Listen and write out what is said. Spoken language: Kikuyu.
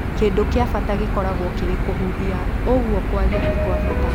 Kĩndũ kĩa bata gĩkoragwo kĩrĩ kũhuhia ũguo kwaria ti-kwabata